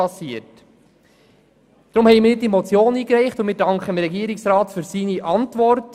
Deshalb habe ich diese Motion eingereicht und danke dem Regierungsrat für seine Antwort.